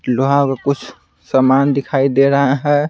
लोहा का कुछ सामान दिखाई दे रहा है।